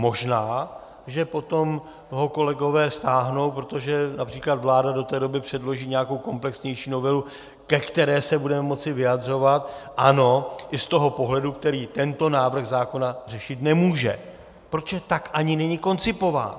Možná, že potom ho kolegové stáhnou, protože například vláda do té doby předloží nějakou komplexnější novelu, ke které se budeme moci vyjadřovat, ano, i z toho pohledu, který tento návrh zákona řešit nemůže, protože tak ani není koncipován.